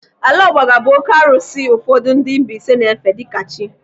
Alaọgbaga bụ oké arụsị ụfọdụ ndị Mbaise na-efe dịka chi.